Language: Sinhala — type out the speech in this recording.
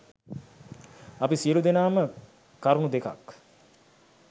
අපි සියලූ දෙනාම කරුණු දෙකක්